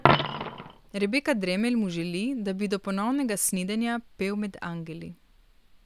Rebeka Dremelj mu želi, da bi do ponovnega snidenja pel med angeli.